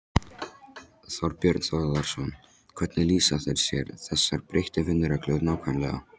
Þorbjörn Þórðarson: Hvernig lýsa þær sér, þessar breyttu vinnureglur nákvæmlega?